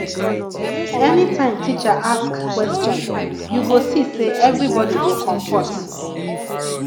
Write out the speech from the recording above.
anytime teacher ask question you go see say everybody go compot